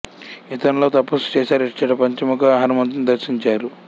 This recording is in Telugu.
ఇతను లో తపస్సు చేశారు ఇచ్చట పంచముఖ హనుమంతుణ్ణి దర్శించారు